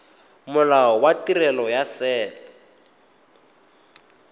molao wa tirelo ya set